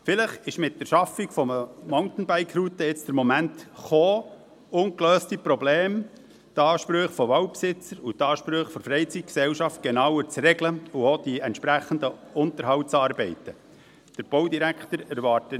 Vielleicht ist mit der Schaffung von Mountainbike-Routen jetzt der Moment gekommen, ungelöste Probleme, die Ansprüche von Waldbesitzern, die Ansprüche der Freizeitgesellschaft und auch die entsprechenden Unterhaltsarbeiten genauer zu regeln.